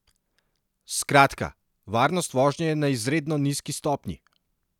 Skratka, varnost vožnje je na izredno nizki stopnji!